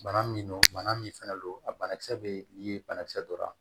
Bana min don bana min fana don a banakisɛ bɛ ni banakisɛ donna